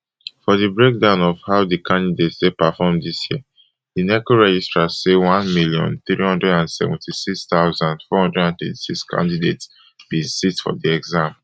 for di breakdown of how di candidates take perform dis year di neco registrar say one million, three hundred and seventy-six thousand, four hundred and thirty-six candidates bin sit for di examination